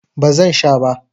Ba zan sha ba.